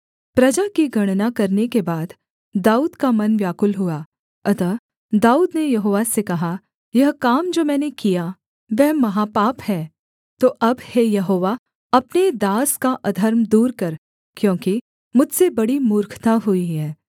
प्रजा की गणना करने के बाद दाऊद का मन व्याकुल हुआ अतः दाऊद ने यहोवा से कहा यह काम जो मैंने किया वह महापाप है तो अब हे यहोवा अपने दास का अधर्म दूर कर क्योंकि मुझसे बड़ी मूर्खता हुई है